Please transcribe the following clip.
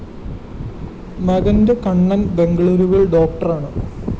മകന്‍് കണ്ണന്‍ ബെംഗളൂരുവില്‍ ഡോക്ടറാണ്